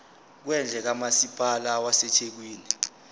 kwendle kamasipala wasethekwini